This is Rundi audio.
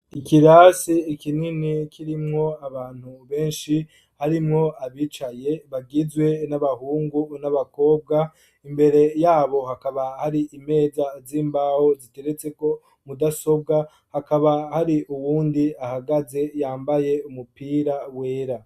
Ikirasi kinini kirimwo abantu benshi harimwo abicaye bagizwe n'abahungu n'abakobwa, imbere yabo hakaba hari imeza z'imbaho ziteretseko mudasobwa hakaba hari uwundi ahagaze yambaye umupira wera.